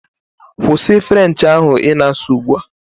Kwụsị French ahụ ị na-asụ ugbu a!